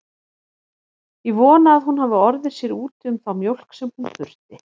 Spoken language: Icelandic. Ég vona að hún hafi orðið sér úti um þá mjólk sem hún þurfti.